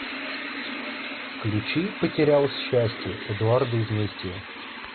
включи потерялось счастье эдуарда изместьева